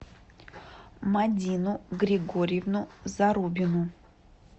мадину григорьевну зарубину